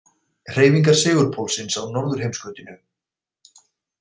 Hreyfingar segulpólsins á norðurheimskautinu.